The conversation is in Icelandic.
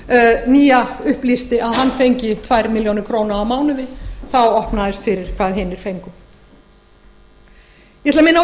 kaupnýja nýja upplýsti að hann fengi tvær milljónir króna á mánuði þá opnaðist fyrir hvað hinir fengu ég